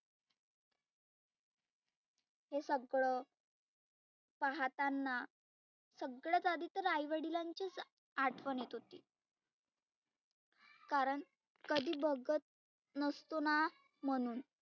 हे सगळ पहाताना सगळ्यात आधी तर आई वडीलांचीच आठवन येत होती. कारण कधी बघत नसतोना म्हणुन